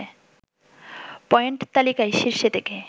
point তালিকায় শীর্ষে থেকে